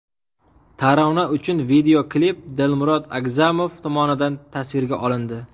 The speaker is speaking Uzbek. Tarona uchun videoklip Dilmurod Agzamov tomonidan tasvirga olindi.